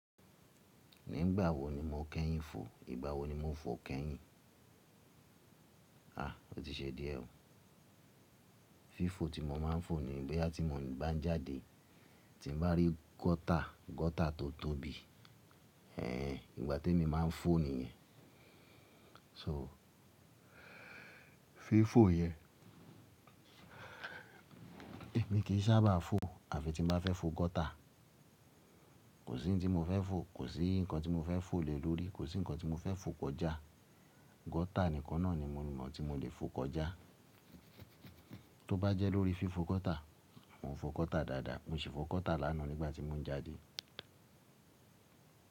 Nígbà wo ni mo kẹ́yìn fò? Ìgbà wo ni mo fò kẹ́yìn? Ó ti ṣe díẹ̀ oo. Fífò tí mo máa ń fò ni boyà tí mo bá ń jáde tí n bá rí gọ́tà, gọ́tà tó tóbi. Ehen, ìgbà temi máa ń fò ni yen. So, fifò yẹn èmi kì í sábà fò àfi tí n bá fẹ́ fò gọ́tà. Kò sí ohun tí mo fẹ́ fò, kò sí ǹnkan tí mo fẹ́ fò lé lórí, kò sí ǹnkan tí mo fẹ́ fò kọjá. Gọ́tà nìkan náà ni mo mọ̀ tí mo lè fò kọjá. Tó bá jẹ́ lórí fifò gọ́tà, mò ń fò gọ́tà dáadáa, mò ṣi fò gọ́tà lánàá nígbà tí mò ń jáde.